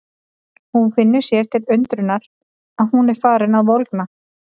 Hún finnur sér til undrunar að hún er farin að volgna.